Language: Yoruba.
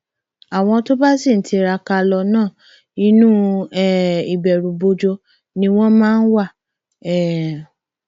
àwọn tó bá sì ń tiraka lọ náà inú um ìbẹrùbojo ni wọn máa wá um